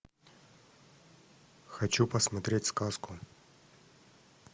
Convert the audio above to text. хочу посмотреть сказку